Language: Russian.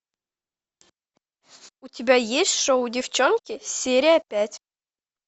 у тебя есть шоу девчонки серия пять